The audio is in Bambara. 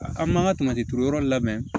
An m'an ka turu yɔrɔ in labɛn